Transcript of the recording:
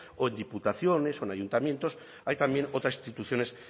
o en diputaciones o en ayuntamientos hay también otras instituciones